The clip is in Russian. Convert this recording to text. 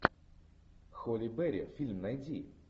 холли берри фильм найди